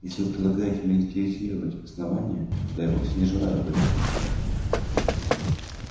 если вы предлагаете милитаризировать основание то я вовсе не желаю об этом слушать